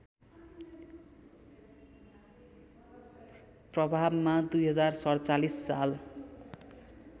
प्रभावमा २०४७ साल